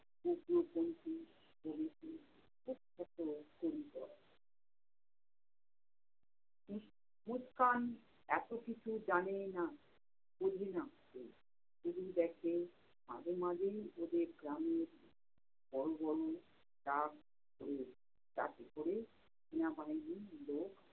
মুসকান এতো কিছু জানে না বোঝে না শুধু দেখে মাঝে মাঝে ওদের গ্রামে বড় বড় truck truck এ ক'রে টিয়ামাইরীর লোক